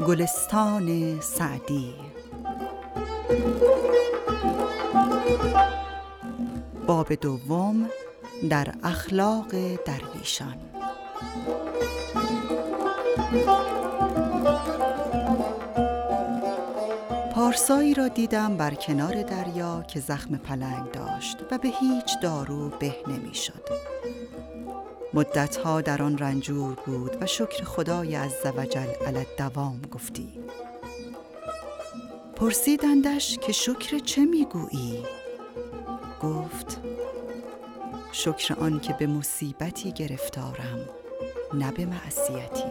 پارسایی را دیدم بر کنار دریا که زخم پلنگ داشت و به هیچ دارو به نمی شد مدتها در آن رنجور بود و شکر خدای عزوجل علی الدوام گفتی پرسیدندش که شکر چه می گویی گفت شکر آن که به مصیبتی گرفتارم نه به معصیتی